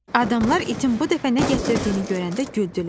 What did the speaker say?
Adamlar itin bu dəfə nə gətirdiyini görəndə güldülər.